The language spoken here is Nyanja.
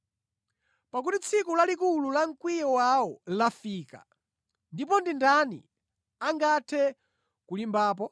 Pakuti tsiku lalikulu la mkwiyo wawo lafika ndipo ndi ndani angathe kulimbapo?”